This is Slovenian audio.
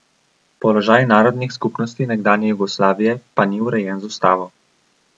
Položaj narodnih skupnosti nekdanje Jugoslavije pa ni urejen z ustavo.